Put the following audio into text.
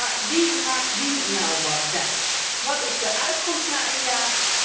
Maar wie maakt wie nu wat wijs? Wat is de uitkomst na een jaar?